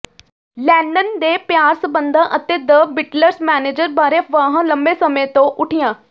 Lenin ਦੇ ਪਿਆਰ ਸਬੰਧਾਂ ਅਤੇ ਦ ਬਿਟਲਸ ਮੈਨੇਜਰ ਬਾਰੇ ਅਫਵਾਹਾਂ ਲੰਮੇ ਸਮੇਂ ਤੋਂ ਉੱਠੀਆਂ